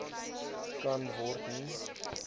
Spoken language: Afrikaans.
kan word nie